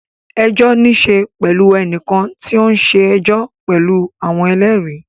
Ẹjọ́ ní í ṣe pẹ̀lú ẹnìkan tí ó ń ṣe ẹjọ́ pẹ̀lú àwọn ẹlẹ́rìí.